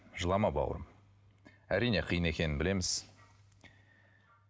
жылама бауырым әрине қиын екенін білеміз